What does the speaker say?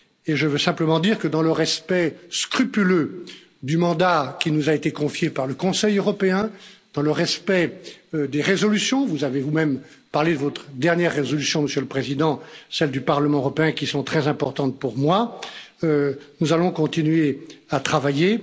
Je veux simplement dire que, dans le respect scrupuleux du mandat qui nous a été confié par le Conseil européen, dans le respect des résolutions vous avez vous même parlé de votre dernière résolution, Monsieur le Président celles du Parlement européen, qui sont très importantes pour moi, nous allons continuer à travailler.